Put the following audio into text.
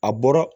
A bɔra